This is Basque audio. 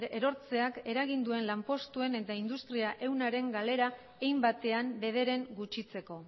erortzeak eragin duen lanpostuen eta industria ehunaren galera hein batean bederen gutxitzeko